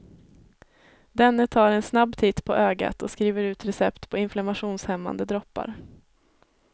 Denne tar en snabb titt på ögat och skriver ut recept på inflammationshämmande droppar.